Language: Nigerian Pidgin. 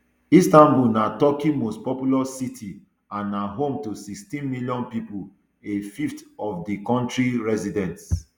istanbul na turkey most populous city and na home to sixteen million pippo a fifth of di kontri residents